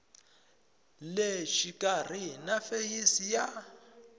le xikarhi na feyisi ya